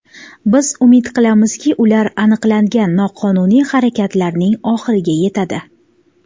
Biz umid qilamizki, ular aniqlangan noqonuniy harakatlarning oxiriga yetadi.